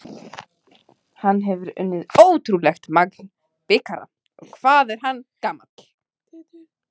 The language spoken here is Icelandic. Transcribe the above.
Hann hefur unnið ótrúlegt magn bikara og hvað er hann gamall?